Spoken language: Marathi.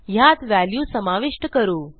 ह्यात व्हॅल्यू समाविष्ट करू